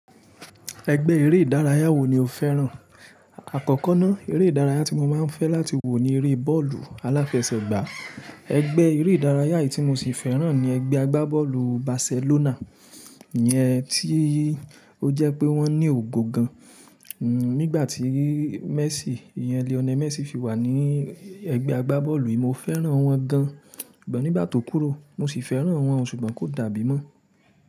Ẹgbẹ́ eré ìdárayá wo ni o fẹ́ràn? Àkọ́kọ́ ná, eré ìdárayá tí mo máa ń fẹ́ láti wò ni eré bọ́ọ̀lù aláfẹsẹ̀gbá. Ẹgbẹ́ eré ìdárayá yìí tí mosì fẹ́ràn ni ẹgbẹ́ agbábọ́ọ̀lù Barcelona. Iyẹn tí ó jẹ́ pé wọ́n ní ògo gan. Nígbàtí Messi, Lionel Messi fi wà ní ẹgbẹ́ agbábọ́ọ̀lù yìí mo fẹ́ràn wọ́n gan, sugbon nígbà tó kúrò mosì fẹ́ràn wọ́n ṣùgbọ́n kó dàbí mọ́.